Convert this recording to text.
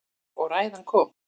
Og ræðan kom.